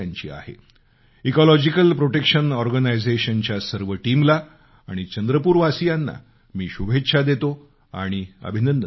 मी ecological protection ऑर्गनायझेशनच्या सर्व टीमला आणि चंद्रपूरवासीयाना शुभेच्छा आणि अभिनंदन करतो